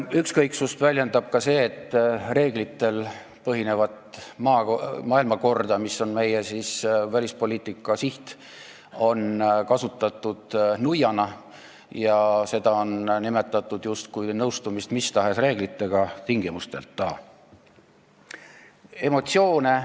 Ükskõiksust väljendab ka see, et reeglitel põhinevat maailmakorda, mis on meie välispoliitika siht, on kasutatud nuiana – seda on nimetatud justkui mis tahes reeglitega tingimusteta nõustumiseks.